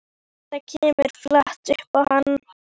Þetta kemur flatt upp á hann.